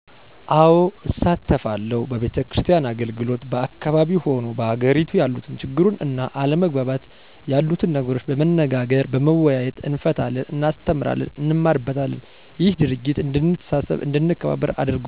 አዎ እሳተፋለሁ በቤተክርስቲያን አገልግሎት በአካባቢው ሆኑ በአገሬቱ ያሉትን ችግሩን እና አለመግባባት የሉትን ነገሮች በመነጋገር በመወያየት እንፈታለን እናስተምራለን እንማርበታለንም እሄ ድርጊት እድንተሳሰብ አድንከባበር አርጎናል